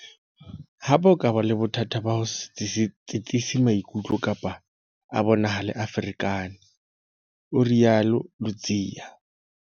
Hape, a ka ba le bothata ba ho se tsitsise maikutlo kapa a bonahale a ferekane, o rialo Ludziya.